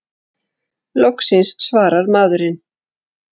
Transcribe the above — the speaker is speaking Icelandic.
Loksins svarar maðurinn!